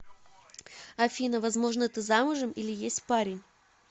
афина возможно ты замужем или есть парень